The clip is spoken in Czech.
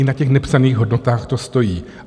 I na těch nepsaných hodnotách to stojí.